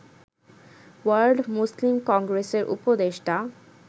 world Muslim কংগ্রেসের উপদেষ্টা